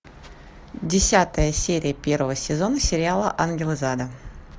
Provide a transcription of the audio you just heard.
десятая серия первого сезона сериала ангел из ада